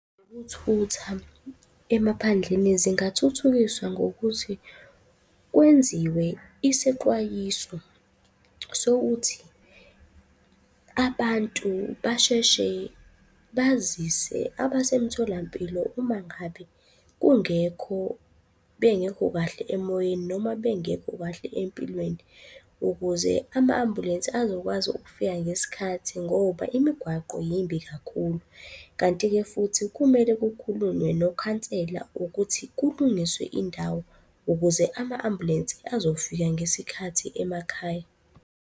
Ngokuthutha emaphandleni, zingathuthukiswa ngokuthi kwenziwe isexwayiso sokuthi abantu basheshe bazise abasemtholampilo uma ngabe kungekho, bengekho kahle emoyeni noma bengekho kahle empilweni ukuze ama-ambulensi azokwazi ukufika ngesikhathi ngoba imigwaqo yimbi kakhulu. Kanti-ke futhi kumele kukhulunywe nokhansela ukuthi kulungiswe indawo ukuze ama-ambulensi azofika ngesikhathi emakhaya.